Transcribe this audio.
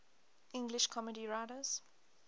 english comedy writers